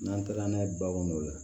N'an taara n'a ye baganw la